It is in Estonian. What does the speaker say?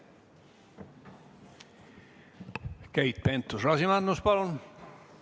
Keit Pentus-Rosimannus, palun!